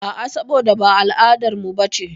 A'a, saboda ba al'adarmu bace.